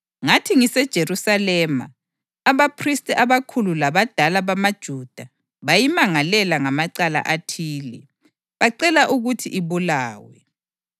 Ngathi ngiseJerusalema, abaphristi abakhulu labadala bamaJuda bayimangalela ngamacala athile, bacela ukuthi ibulawe.